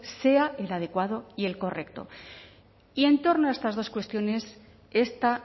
sea el adecuado y el correcto y en torno a estas dos cuestiones esta